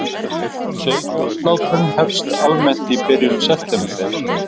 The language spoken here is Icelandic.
Sauðfjárslátrun hefst almennt í byrjun september